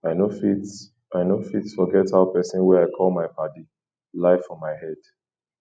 i no fit i no fit forget how pesin wey i call my paddy lie for my head